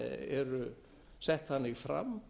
eru sett þannig fram